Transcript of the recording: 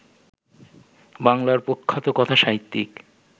বাংলার প্রখ্যাত কথাসাহিত্যিক